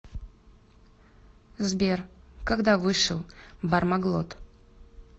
сбер когда вышел бармаглот